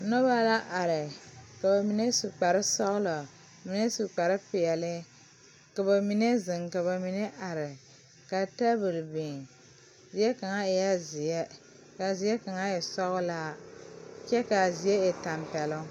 Noba la are ka ba mine su kparesɔglɔ mine su kparepeɛle ka ba mine zeŋ ka ba mine are ka tabol biŋ zie kaŋ eɛ zeɛ k,a zie kaŋ e sɔglaa kyɛ k,a zie e tɛmpɛloŋ.